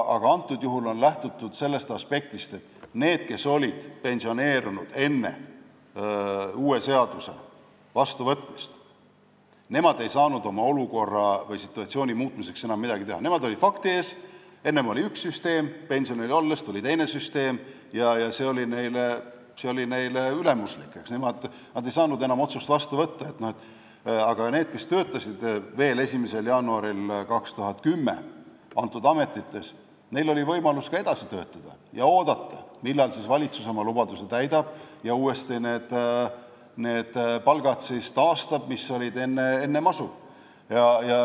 Antud juhul on lähtutud sellest aspektist, et need, kes olid pensioneerunud enne uue seaduse vastuvõtmist, ei saanud oma olukorra või situatsiooni muutmiseks enam midagi teha, nemad olid fakti ees, et enne oli üks süsteem, nende pensionil olles tuli teine süsteem ja see oli neile ülimuslik, nad ei saanud enam otsust vastu võtta, aga nendel, kes töötasid veel 1. jaanuaril 2010 nendes ametites, oli võimalus edasi töötada ja oodata, millal valitsus oma lubaduse täidab ja taastab need palgad, mis olid enne masu.